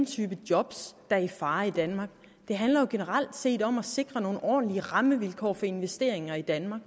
type jobs der er i fare i danmark det handler jo generelt set om at sikre nogle ordentlige rammevilkår for investeringer i danmark